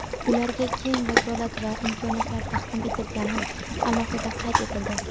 ularga keng vakolat va imkoniyatlar taqdim etilgani alohida qayd etildi.